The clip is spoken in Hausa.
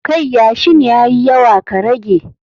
Kai yashin ya yi yawa ka rage